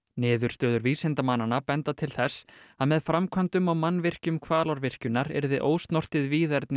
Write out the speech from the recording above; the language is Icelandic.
niðurstöður vísindamannanna benda til þess að með framkvæmdum og mannvirkjum Hvalárvirkjunar yrði ósnortið víðerni